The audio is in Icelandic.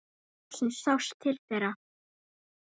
Loksins sást til þeirra.